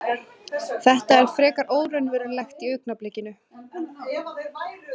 Þetta er frekar óraunverulegt í augnablikinu.